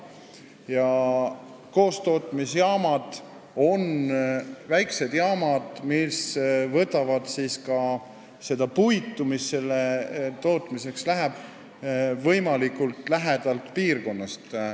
Ja koostootmisjaamad on väiksed jaamad, mis võtavad seda puitu, mis selle tootmiseks läheb, võimalikult lähedalt piirkonnast.